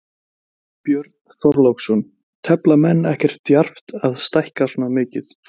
Björn Þorláksson: Tefla menn ekkert djarft að stækka svona mikið?